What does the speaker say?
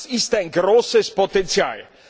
Das ist ein großes Potenzial.